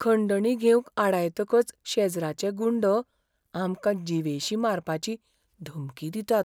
खंडणी घेवंक आडायतकच शेजराचे गुंड आमकां जीवेशीं मारपाची धमकी दितात